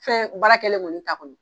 Fɛn baara kɛlen kɔni ta kɔnɔ.